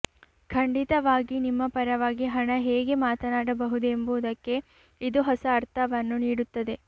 ಖಂಡಿತವಾಗಿ ನಿಮ್ಮ ಪರವಾಗಿ ಹಣ ಹೇಗೆ ಮಾತನಾಡಬಹುದು ಎಂಬುದಕ್ಕೆ ಇದು ಹೊಸ ಅರ್ಥವನ್ನು ನೀಡುತ್ತದೆ